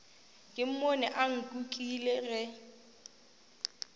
ke mmone a nkukile ge